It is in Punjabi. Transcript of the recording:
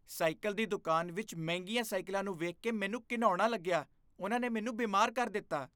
ਸਾਈਕਲ ਦੀ ਦੁਕਾਨ ਵਿੱਚ ਮਹਿੰਗੀਆਂ ਸਾਈਕਲਾਂ ਨੂੰ ਵੇਖ ਕੇ ਮੈਨੂੰ ਘਿਣਉਣਾ ਲੱਗਿਆ। ਉਨ੍ਹਾਂ ਨੇ ਮੈਨੂੰ ਬਿਮਾਰ ਕਰ ਦਿੱਤਾ।